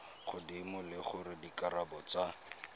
godimo le gore dikarabo tsa